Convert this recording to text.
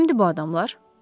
Kimdir bu adamlar?